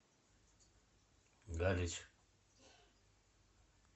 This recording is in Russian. галич